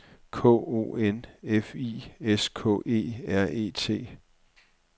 K O N F I S K E R E T